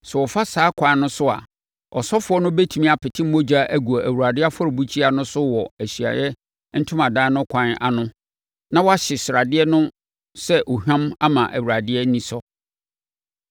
Sɛ wɔfa saa ɛkwan no so a, ɔsɔfoɔ no bɛtumi apete mogya agu Awurade afɔrebukyia no so wɔ Ahyiaeɛ Ntomadan no kwan ano na wɔahye sradeɛ no sɛ ohwam ama Awurade ani asɔ.